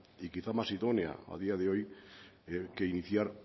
y quizá más idónea a día de hoy que iniciar